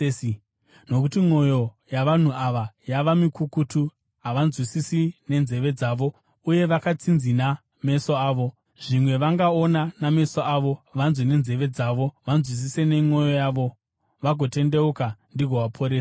Nokuti mwoyo yavanhu ava yava mikukutu; havanzwisisi nenzeve dzavo, uye vakatsinzina meso avo. Zvimwe vangaona nameso avo, vanganzwa nenzeve dzavo, vakanzwisisa nemwoyo yavo, vagotendeuka, ndigovaporesa.’